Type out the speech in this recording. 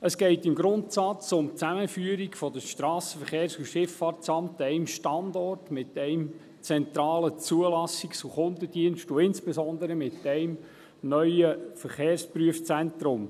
Es geht im Grundsatz um die Zusammenführung des SVSA an einem Standort, mit einem zentralen Zulassungs- und Kundendienst und insbesondere mit einem neuen Verkehrsprüfzentrum.